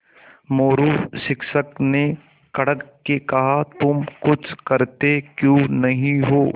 मोरू शिक्षक ने कड़क के कहा तुम कुछ करते क्यों नहीं हो